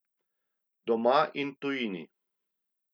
Doma in v tujini.